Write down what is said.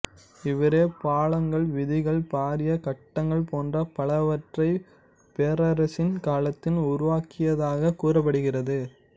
இவரே பாலங்கள் வீதிகள் பாரிய கட்டடங்கள் போன்ற பலவற்றை பேரரசின் காலத்தில் உருவாக்கியதாகக் கூறப்படுகிறது